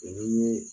ni